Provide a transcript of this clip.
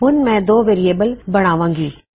ਹੁਣ ਮੈਂ ਦੋ ਵੇਅਰਿਏਬਲ ਬਣਾਵਾਂਗੀ